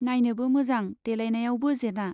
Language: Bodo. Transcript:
नाइनोबो मोजां देलायनायावबो जेना।